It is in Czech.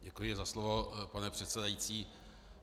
Děkuji za slovo, pane předsedající.